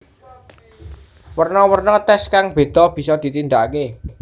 Werno werno tes kang bedha bisa ditindake